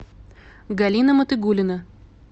галина матыгулина